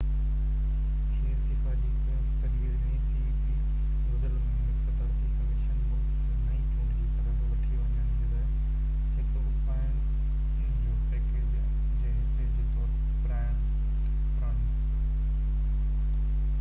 گذريل مهيني هڪ صدارتي ڪميشن ملڪ کي نئي چونڊ جي طرف وٺي وڃڻ جي لاءِ هڪ اُپائن جو پئڪيج جي حصي جي طور پراڻن cep کي استعفيٰ جي تجويز ڏني